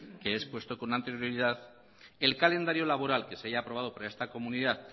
que he expuesto con anterioridad el calendario laboral que se haya aprobado por esta comunidad